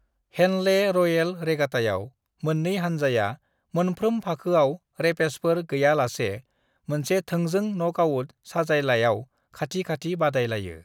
"Henley Royal रेगाटायाव, मोन्नै हानजाया मोनफ्रोम फाखोआव रेपेचेजफोर गैयालासे मोनसे थोंजों नकआउट साजायलायाव खाथि-खाथि बादाय लायो।"